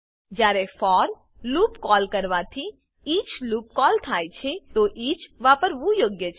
જયારે for loop call કરવાથી each loop call થાય છે તો ઇચ વાપરવું યોગ્ય છે